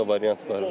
Başqa variant var?